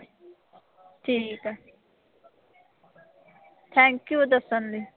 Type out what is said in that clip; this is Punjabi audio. ਠੀਕ ਆ। thank you ਦੱਸਣ ਲਈ।